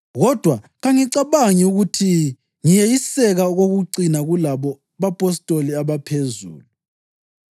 Kodwa kangicabangi ukuthi ngiyeyiseka okokucina kulabo “bapostoli abaphezulu.”